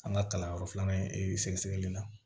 An ka kalanyɔrɔ filanan in ee sɛgɛsɛgɛli la